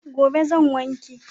Gobe zan wanke.